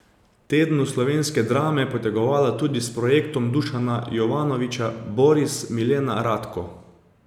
Tednu slovenske drame potegovala tudi s projektom Dušana Jovanovića Boris, Milena, Radko.